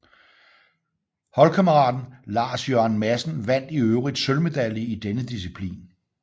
Holdkammeraten Lars Jørgen Madsen vandt i øvrigt sølvmedalje i denne disciplin